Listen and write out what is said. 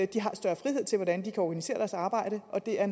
de har større frihed til hvordan de kan organisere deres arbejde og det er